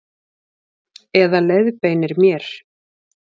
Eða leiðbeinir mér.